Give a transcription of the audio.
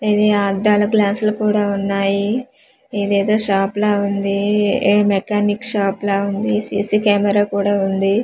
ఇది అద్దాలు గ్లాస్ లు కుడా ఉన్నాయి ఇది ఎదో షాప్ లా ఉంది ఎ మెకానిక్ షాప్ లా ఉంది సి_సి కెమెరా కుడా ఉంది.